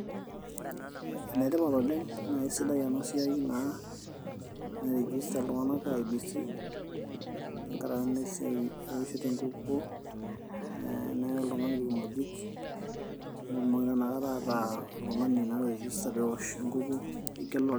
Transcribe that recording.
enetipat oleng naa isidai ena siai naa nairijista iltung'anak IEBC tenkarake naa esiai ewoshoto enkukuo ee neyai oltung'ani irkimojik nitumoki naa inakata ataa oltung'ani naa oirijista peewosh enkukuo.